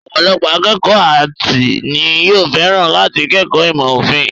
Ọ̀pọ̀lọpọ̀ akékọ̀ọ́ áàtì ni yóò fẹ́ràn láti kẹ́kọ̀ọ́ ìmọ̀ òfin.